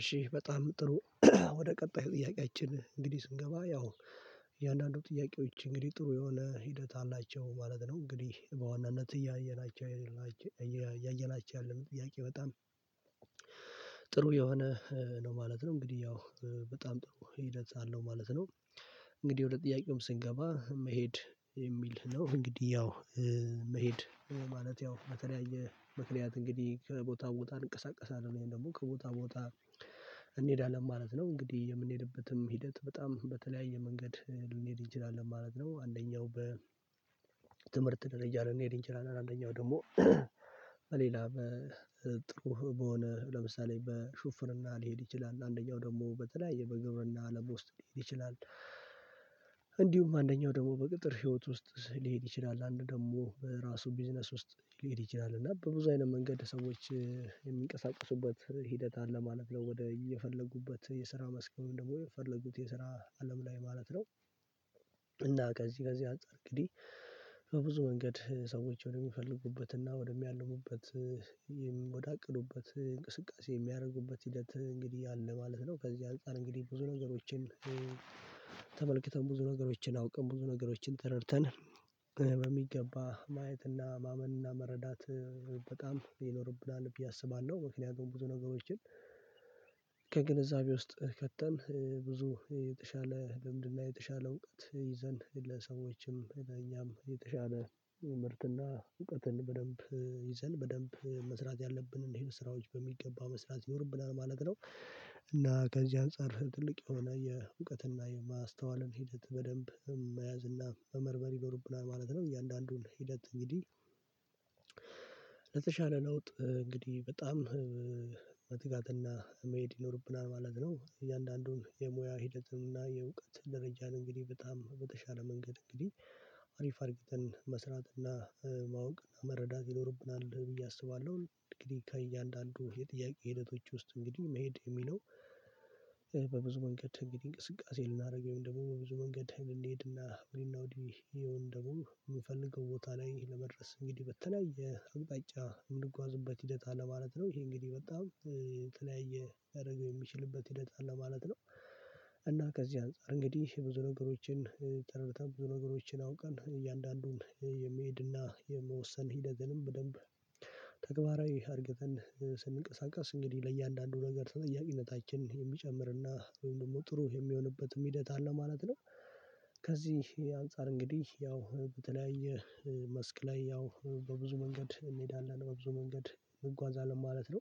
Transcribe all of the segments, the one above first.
እሺ በጣም ጥሩ። ወደ ቀጣይ ጥያቄያችን እንግዲህ ስንገባ ያው እያንዳንዱ ጥያቄዎች እንግዲህ ጥሩ የሆነ ሂደት አላቸው ማለት ነው። እንግዲህ በዋናነት እያየናቸው እያየናቸው ያለው ጥያቄ በጣም። ጥሩ የሆነ ነው ማለት ነው እንግዲህ ያው በጣም ጥሩ ሂደት አለው ማለት ነው። እንግዲህ ወደ ጥያቄውም ስንገባ መሄድ የሚል ነው እንግዲህ ያው መሄድ ማለት ያው በተለያየ ምክንያት እንግዲህ ከቦታው ቦታ እንቀሳቀሳለን ወይም ደግሞ ከቦታው ቦታ። እንሄዳለን ማለት ነው እንግዲህ የምንሄድበትም ሂደት በጣም በተለያየ መንገድ ልንሄድ እንችላለን ማለት ነው። አንደኛው በትምህርት ደረጃ ልንሄድ እንችላለን አንደኛው ደግሞ በሌላ በጥሩ በሆነ ለምሳሌ በሹፍርና ሊሄድ ይችላል አንደኛው ደግሞ በተለያየ በግብርና አለም ውስጥ ሊሄድ ይችላል። እንዲሁም አንደኛው ደግሞ በቅጥር ህይወት ውስጥ ሊሄድ ይችላል አንዱ ደግሞ በራሱ ቢዝነስ ውስጥ ሊሄድ ይችላል እና በብዙ አይነት መንገድ ሰዎች የሚንቀሳቀሱበት ሂደት አለ ማለት ነው። ወደ የፈለጉበት የስራ መስከም ደግሞ የፈለጉት የስራ አለም ላይ ማለት ነው። እና ከዚህ ከዚህ አንፃር እንግዲህ ከብዙ መንገድ ሰዎች ወደሚፈልጉበት እና ወደሚያልሙበት ወደ አቅዱበት እንቅስቃሴ የሚያደርጉበት ሂደት እንግዲህ አለ ማለት ነው። ከዚህ አንፃር እንግዲህ ብዙ ነገሮችን ተመልክተን ብዙ ነገሮችን አውቅን ብዙ ነገሮችን ተረድተን በሚገባ ማየትና ማመንና መረዳት በጣም ይኖርብናል ብዬ አስባለሁ። ምክንያቱም ብዙ ነገሮችን ከግንዛቤ ውስጥ ከተን ብዙ የተሻለ ልምድና የተሻለ እውቀት ይዘን ለሰዎችም ለእኛም የተሻለ ምርትና እውቀትን በደንብ ይዘን በደንብ መስራት ያለብን እኚህ ስራዎች በሚገባ መስራት ይኖርብናል ማለት ነው። እና ከዚህ አንፃር ትልቅ የሆነ የእውቀትና የማስተዋልን ሂደት በደንብ መያዝ እና መመርመር ይኖርብናል ማለት ነው። እያንዳንዱን ሂደት እንግዲህ ለተሻለ ለውጥ እንግዲህ በጣም መትጋትና መሄድ ይኖርብናል ማለት ነው። እያንዳንዱን የሙያ ሂደትን እና የእውቀትን ደረጃን እንግዲህ በጣም በተሻለ መንገድ እንግዲህ አሪፍ አርግተን መስራት እና ማወቅ እና መረዳት ይኖርብናል ብዬ አስባለሁ። እንግዲህ ከእያንዳንዱ የጥያቄ ሂደቶች ውስጥ እንግዲህ መሄድ የሚለው በብዙ መንገድ እንግዲህ እንቅስቃሴ ልናደርግ ወይም ደግሞ በብዙ መንገድ ልንሄድና ወዲህ ይሄው ደግሞ ምንፈልገው ቦታ ላይ ለመድረስ እንግዲህ በተለያየ አቅጣጫ የምንጓዝበት ሂደት አለ ማለት ነው። ይሄ እንግዲህ በጣም ተለያየ ሊያደርገው የሚችልበት ሂደት አለ ማለት ነው። እና ከዚህ አንፃር እንግዲህ ብዙ ነገሮችን ተረድተን ብዙ ነገሮችን አውቀን እያንዳንዱን የመሄድና የመወሰን ሂደትንም በደንብ ተግባራዊ አድርገን ስንቀሳቀስ እንግዲህ ለእያንዳንዱ ነገር ተጠያቂነታችን የሚጨምርና ወይም ደግሞ ጥሩ የሚሆንበትም ሂደት አለ ማለት ነው። ከዚህ አንፃር እንግዲህ ያው በተለያየ መስክ ላይ ያው በብዙ መንገድ እንሄዳለን በብዙ መንገድ እንጓዛለን ማለት ነው።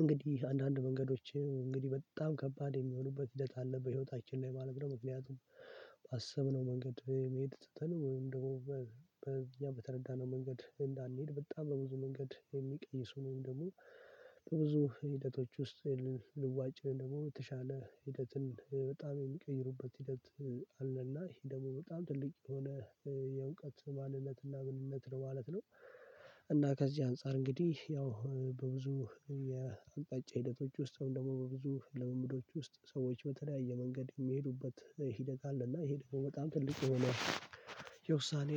እንግዲህ አንዳንድ መንገዶች እንግዲህ በጣም ከባድ የሚሆኑበት ሂደት አለ በህይወታችን ላይ ማለት ነው። ምክንያቱም ባሰብነው መንገድ የመሄድ ትተን ወይም ደግሞ ያ በተረዳነው መንገድ እንዳንሄድ በጣም በብዙ መንገድ የሚቀይሱ ወይንም ደግሞ በብዙ ሂደቶች ውስጥ የለንም ልዋጭ ደግሞ የተሻለ ሂደትን በጣም የሚቀይሩበት ሂደት አለና ይሄ ደግሞ በጣም ትልቅ የሆነ የእውቀት ማንነትና ምንነት ነው ማለት ነው። እና ከዚህ አንፃር እንግዲህ ያው በብዙ የአቅጣጫ ሂደቶች ውስጥ ደግሞ በብዙ ልምምዶች ውስጥ ሰዎች በተለያየ መንገድ የሚሄዱበት ሂደት አለ እና ይሄ ደግሞ በጣም ትልቅ ሆኖ የውሳኔ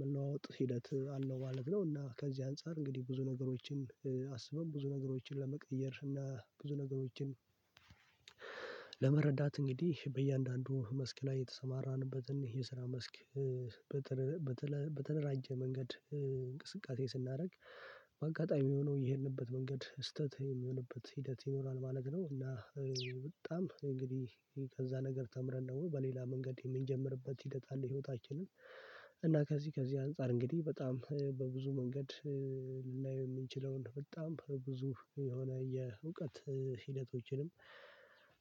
መለዋወጥ ሂደት አለው ማለት ነው። እና ከዚህ አንፃር እንግዲህ ብዙ ነገሮችን አስበው ብዙ ነገሮችን ለመቀየር እና ብዙ ነገሮችን ለመረዳት እንግዲህ በእያንዳንዱ መስክ ላይ የተሰማራንበትን የስራ መስክ በተደራጀ መንገድ እንቅስቃሴ ስናደርግ በአጋጣሚ የሆነው የሄድንበት መንገድ ስህተት የሚሆንበት ሂደት ይኖራል ማለት ነው። እና በጣም እንግዲህ ከዛ ነገር ተምረን ነው በሌላ መንገድ የምንጀምርበት ሂደት አለ ህይወታችንን እና ከዚህ ከዚህ አንፃር እንግዲህ በጣም በብዙ መንገድ ልናየው የምንችለውን በጣም ብዙ የሆነ የእውቀት ሂደቶችንም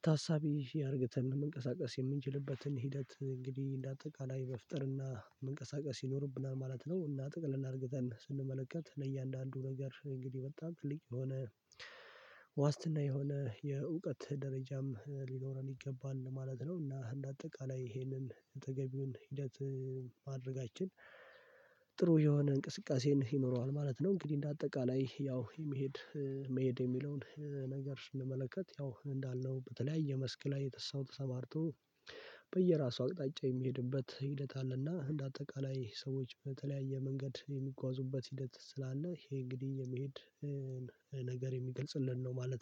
ታሳቢ አርግተን መንቀሳቀስ የምንችልበትን ሂደት እንግዲህ እንደ አጠቃላይ መፍጠርና መንቀሳቀስ ይኖርብናል ማለት ነው። እና ጠቅለል አርግተን ስንመለከት እነ እያንዳንዱ ነገር እንግዲህ በጣም ትልቅ የሆነ ዋስትና የሆነ የእውቀት ደረጃም ሊኖረን ይገባል ማለት ነው። እና አጠቃላይ ይሄንን ተገቢውን ሂደት ማድረጋችን ጥሩ የሆነ እንቅስቃሴን ይኖረዋል ማለት ነው። እንግዲህ እንደ አጠቃላይ ያው የመሄድ መሄድ የሚለውን ነገር ስንመለከት ያው እንዳልነው በተለያየ መስክ ላይ ሰው ተማርቶ በየራሱ አቅጣጫ የሚሄድበት ሂደት አለና እንደ አጠቃላይ ሰዎች በተለያየ መንገድ የሚጓዙበት ሂደት ስላለ ይሄ እንግዲህ የመሄድ ነገር የሚገልጽልን ነው ማለት ነው